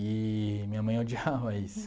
Eee minha mãe odiava isso.